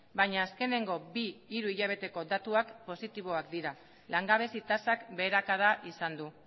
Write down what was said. baina azkeneko bi hiru hilabeteko datuak positiboak dira langabezi tasak beherakada izan du